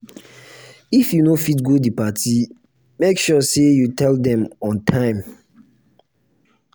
if you no fit go di party make sure say you tell dem on time